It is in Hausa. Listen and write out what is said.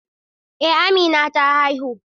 Eh Amina ta haihu.